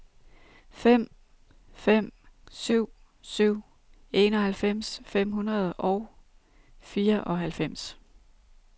fem fem syv syv enoghalvfems fem hundrede og fireoghalvfems